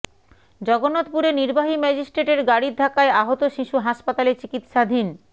জগন্নাথপুরে নির্বাহী ম্যাজিস্ট্রেটের গাড়ির ধাক্কায় আহত শিশু হাসপাতালে চিকিৎসাধীন